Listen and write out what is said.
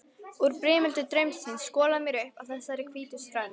Úr brimöldu draumsins skolar mér upp að þessari hvítu strönd.